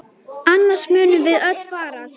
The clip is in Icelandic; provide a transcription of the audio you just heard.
Annars munum við öll farast!